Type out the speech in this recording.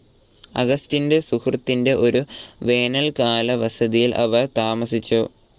അഗസ്റ്റിൻ്റെ സുഹൃത്തിൻ്റെ ഒരു വേനൽക്കാല വസതിയിൽ അവർ താമസിച്ചു.